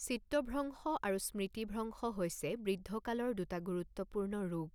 চিত্তভ্ৰংশ আৰু স্মৃতিভ্ৰংশ হৈছে বৃদ্ধ কালৰ দুটা গুৰুত্বপূৰ্ণ ৰোগ।